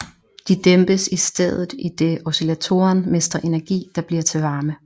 De dæmpes i stedet idet oscillatoren mister energi der bliver til varme